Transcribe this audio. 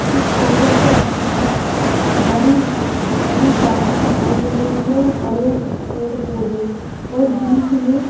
इस फोटो के अंदर हरी हरी घास दिखाई दे रही है और हरे पेड़-पौधे और बीच में --